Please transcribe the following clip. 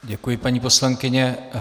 Děkuji, paní poslankyně.